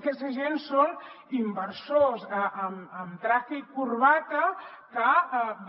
aquesta gent són inversors amb traje i corbata que